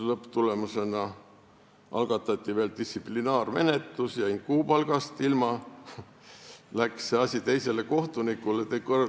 Lõpptulemusena algatati veel distsiplinaarmenetlus, ma jäin kuupalgast ilma ja see asi läks teisele kohtunikule.